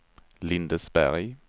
Lindesberg